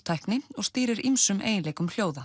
tækni og stýrir ýmsum eiginleikum hljóða